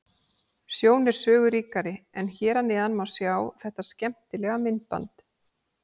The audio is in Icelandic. Sjón er sögu ríkari en hér að neðan má sjá þetta skemmtilega myndband.